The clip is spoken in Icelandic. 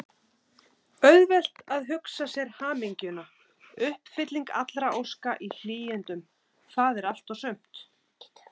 Auðvelt að hugsa sér hamingjuna: uppfylling allra óska í hlýindum, það er allt og sumt!